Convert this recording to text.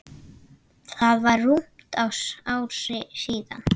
Það var rúmt ár síðan.